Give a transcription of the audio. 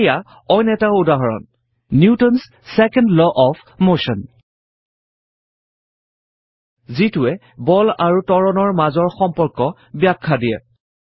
এইয়া অইন এটা উদাহৰণ Newton's second law of motion নিউটনৰ দ্বিতীয় গতি সূত্ৰ যিটোৱে বল আৰু ত্বৰণৰ মাজৰ সম্পৰ্কৰ ব্যখ্যা দিয়ে